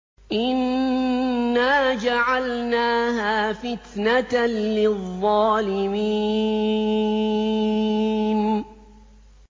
إِنَّا جَعَلْنَاهَا فِتْنَةً لِّلظَّالِمِينَ